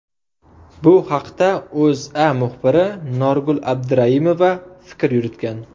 Bu haqda O‘zA muxbiri Norgul Abduraimova fikr yuritgan .